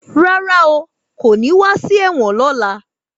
Rárá o, kò ní wá sí ẹ̀wọ̀n lọ́la.